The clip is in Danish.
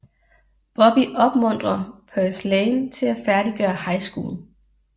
Bobby opmuntrer Purslane til at færdiggøre High School